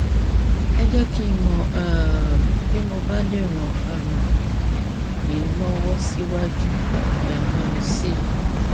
ẹ jẹ kí n mọ um bí mo bá lè ràn um yín lọwọ síwájú um sí i